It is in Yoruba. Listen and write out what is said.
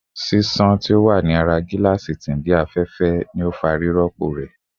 A kiraki ni afẹfẹ shield ni dandan rirọpo awọn oniwe-